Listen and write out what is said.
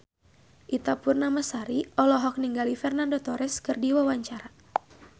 Ita Purnamasari olohok ningali Fernando Torres keur diwawancara